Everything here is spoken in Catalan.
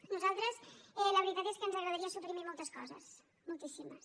a nosaltres la veritat és que ens agradaria suprimir moltes coses moltíssimes